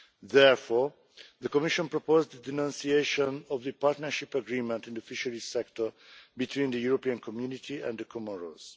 Therefore, the Commission proposed a denunciation of the partnership agreement in the fisheries sector between the European Community and the Comoros.